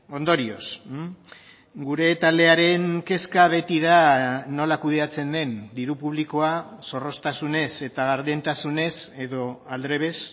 ondorioz gure taldearen kezka beti da nola kudeatzen den diru publikoa zorroztasunez eta gardentasunez edo aldrebes